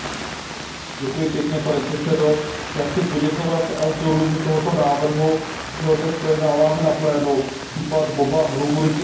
Pane předsedající, já chci poděkovat autorům tohoto návrhu, že ho dnes projednáváme na plénu. Případ Boba Ruguriky je mimořádně důležitý.